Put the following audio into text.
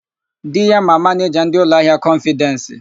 Di ya ma manịja ndị ụlọahịa kọnfịdensi.